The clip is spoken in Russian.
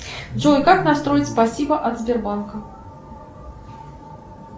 джой как настроить спасибо от сбербанка